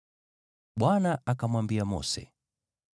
Bwana akamwambia Mose,